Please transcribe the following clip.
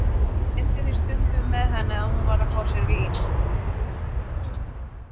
Ég leyndi því stundum með henni að hún var að fá sér vín.